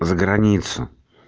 за границу